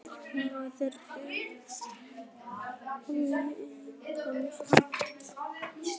Varð Friðrik var við áhyggjusvipinn á konu sinni?